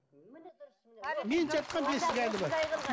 мен жатқан бесік әлі бар